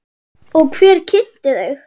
Og hver kynnti þau?